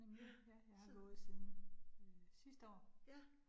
Ja, så. Ja